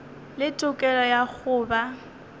le tokelo ya go ba